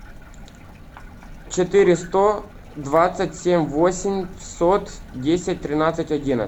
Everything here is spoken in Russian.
четыре сто двадцать семь восемьсот десять тринадцать одиннадцать